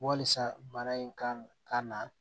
Walisa bana in kan ka na